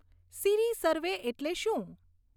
સીરી survey એટલે શું